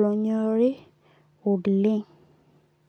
lonyorii oleng'.